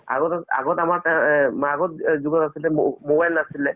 আৰু আগত যেতিয়া mobile নাছিলে